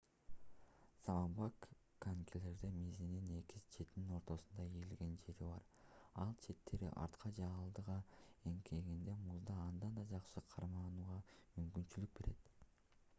заманбап конькилердин мизинин эки четинин ортосунда ийилген жери бар ал четтери артка же алдыга эңкейгенде музда андан да жакшы карманууга мүмкүндүк берет